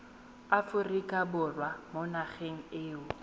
aforika borwa mo nageng eo